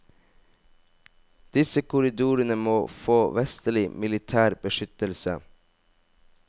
Disse korridorene må få vestlig militær beskyttelse.